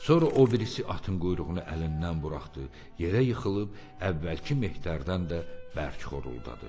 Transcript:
Sonra o birisi atın quyruğunu əlindən buraxdı, yerə yıxılıb əvvəlki mehdərdən də bərk xoruldadı.